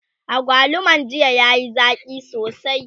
agwaluman jiya yayi Zaki sosai